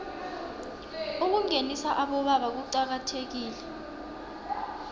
ukungenisa abobaba kuqakathekile